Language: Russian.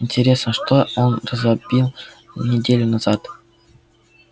интересно что он разбил неделю назад